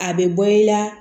A bɛ bɔ i la